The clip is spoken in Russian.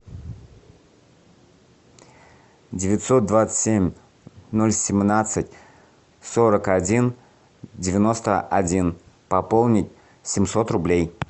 девятьсот двадцать семь ноль семнадцать сорок один девяносто один пополнить семьсот рублей